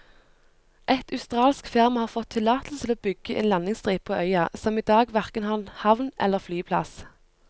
Et australsk firma har fått tillatelse til å bygge en landingsstripe på øya, som i dag hverken har havn eller flyplass.